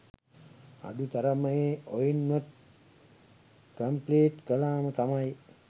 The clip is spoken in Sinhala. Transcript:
අඩු තරමෙ ඔයින්වත් කම්ප්ලීට් කලාම තමයි